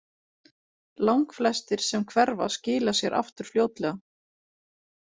Langflestir sem hverfa skila sér aftur fljótlega.